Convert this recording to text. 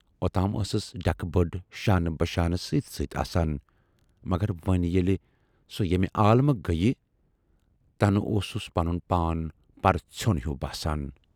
اوتام ٲسٕس ڈٮ۪کہٕ بٔڈ شانہٕ بشانہٕ سۭتۍ سۭتۍ آسان، مگر وۅنۍ ییلہِ سۅ ییمہِ عالمہٕ گٔیہِ تنہٕ اوسُس پنُن پان پرٕژھیون ہیوٗ باسان۔